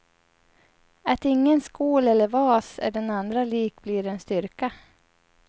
Att ingen skål eller vas är den andra lik blir en styrka.